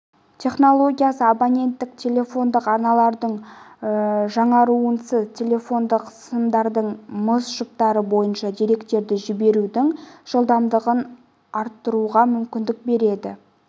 технологиясы абоненттік телефондық арналардың жаңаруынсыз телефондық сымдардың мыс жұптары бойынша деректерді жіберудің жылдамдығын арттыруға мүмкіндік береді